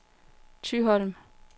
Thyholm